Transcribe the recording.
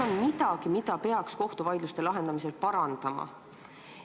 Kas on midagi, mida peaks kohtuvaidluste lahendamisel parandama?